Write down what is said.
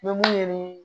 ni